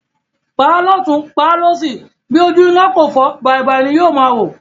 Pàá lótùn, pàá lósì, bí ojú náà kò fọ́, bàìbàì ni yóò máa wò.